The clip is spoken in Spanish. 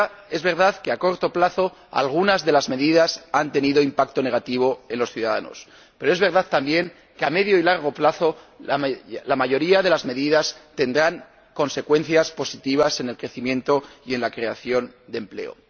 Es verdad que, a corto plazo, algunas de las medidas han tenido un impacto negativo en los ciudadanos, pero es verdad también que, a medio y largo plazo, la mayoría de las medidas tendrán consecuencias positivas en el crecimiento y en la creación de empleo.